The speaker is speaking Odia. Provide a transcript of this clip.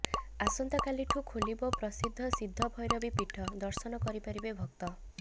ଆସନ୍ତାକାଲିଠୁ ଖୋଲିବ ପ୍ରସିଦ୍ଧ ସିଦ୍ଧ ଭୈରବୀ ପୀଠ ଦର୍ଶନ କରିପାରିବେ ଭକ୍ତ